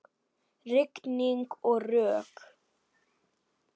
Rigning og rok.